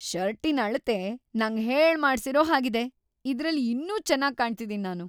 ಷರ್ಟಿನ್‌ ಅಳತೆ ನಂಗ್‌ ಹೇಳ್ಮಾಡ್ಸಿರೋ ಹಾಗಿದೆ. ಇದ್ರಲ್ಲಿ ಇನ್ನೂ ಚೆನಾಗ್‌ ಕಾಣ್ತಿದೀನಿ ನಾನು.